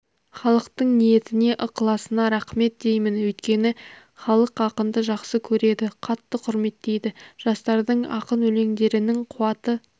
халықтың ниетіне ықыласына рақмет деймін өйткені халық ақынды жақсы көреді қатты құрметтейді жастардың ақын өлеңдерінің қуаты